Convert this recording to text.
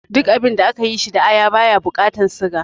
Duk abinda aka yi shi da aya baya bukatan siga